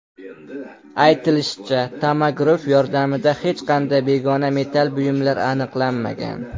Aytilishicha, tomograf yordamida hech qanday begona metall buyumlar aniqlanmagan.